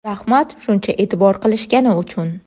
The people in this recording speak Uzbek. Rahmat shuncha e’tibor qilishgani uchun”.